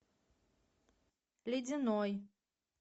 ледяной